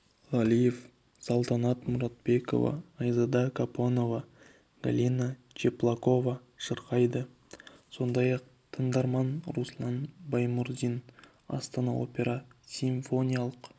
ғалеев салтанат мұратбекова айзада қапонова галина чеплакова шырқайды сондай-ақ тыңдарман руслан баймұрзин астана опера симфониялық